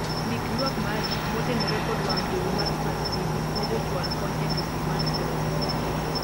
ndik ywak mari motenore kod wang' jowi mar smart tv ne Jochwal kony e kambi mar Soni